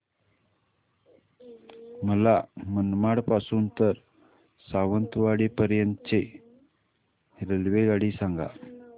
मला मनमाड पासून तर सावंतवाडी पर्यंत ची रेल्वेगाडी सांगा